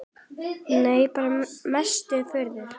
Nei bara mesta furða.